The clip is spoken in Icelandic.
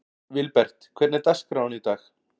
Vilbert, hvernig er dagskráin í dag?